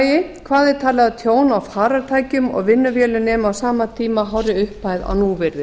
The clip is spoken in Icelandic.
og í öðru lagi hvað er talið að tjón á farartækjum og vinnuvélum nemi á sama tímabili hárri upphæð á núvirði